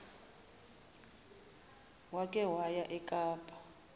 wake waya ekapa